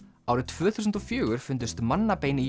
árið tvö þúsund og fjögur fundust mannabein í